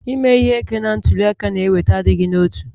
Ime ihe ike na ntuli aka na-eweta adịghị n'otu